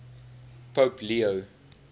pope leo